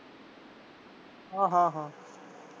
ਹਾਂ ਹਾਂ।